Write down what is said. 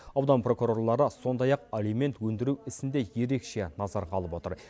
аудан прокурорлары сондай ақ алимент өндіру ісін де ерекше назарға алып отыр